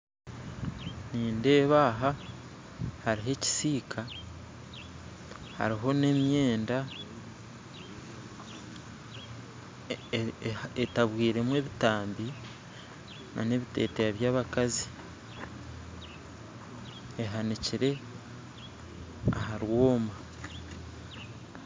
Nindeeba aha hariho ekisiika hariho n'emyenda etabwiremu ebitambi n'ebiteteeya by'abakazi ehanikiire aha rwooma